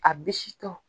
A bisitɔ